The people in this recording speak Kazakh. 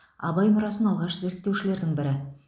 абай мұрасын алғаш зерттеушілердің бірі